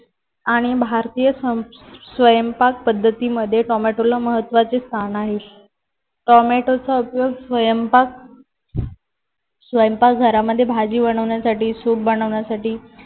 आणि भारतीय स्वयंपाक पद्धतीमध्ये टोमॅटोला महत्त्वाचे स्थान आहे. टोमॅटोचा उपयोग स्वयंपाक स्वयंपाक घरामध्ये भाजी बनवण्यासाठी सूप बनवण्यासाठी